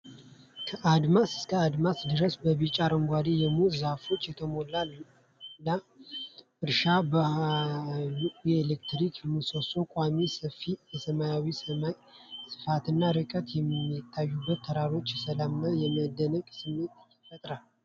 ከአድማስ እስከ አድማስ ድረስ በቢጫ-አረንጓዴ የሙዝ ዛፎች የተሞላ ለም እርሻ፣ በመሃሉ የኤሌክትሪክ ምሰሶ ቆሟል። ሰፊው የሰማያዊ ሰማይ ስፋትና ርቀው የሚታዩት ተራሮች የሰላም እና የመደነቅ ስሜት ይፈጥራሉ።